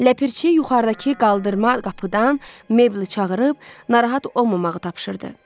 Ləpirçi yuxarıdakı qaldırma qapıdan Meble çağırıb narahat olmamağı tapşırdı.